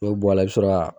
N'o bɔ a la i bɛ sɔrɔ ka